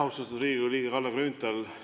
Austatud Riigikogu liige Kalle Grünthal!